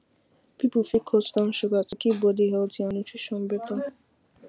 people fit cut down sugar to keep body healthy and nutrition better